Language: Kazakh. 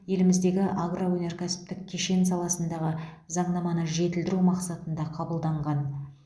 еліміздегі агроөнеркәсіптік кешен саласындағы заңнаманы жетілдіру мақсатында қабылданған